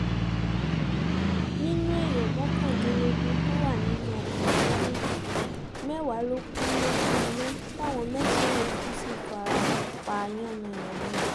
nínú èèyàn mọ́kàndínlógún tó wà nínú ọkọ̀ méjèèjì mẹ́wàá ló kù lójú iná táwọn mẹ́sàn-án yòókù sì fara pa yánnayànna